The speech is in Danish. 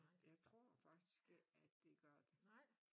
Jeg tror faktisk ikke at det godt